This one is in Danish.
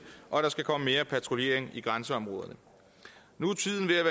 og der skal komme mere patruljering i grænseområderne nu